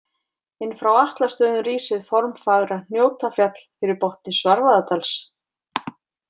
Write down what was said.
Inn frá Atlastöðum rís hið formfagra Hnjótafjall fyrir botni Svarfaðardals.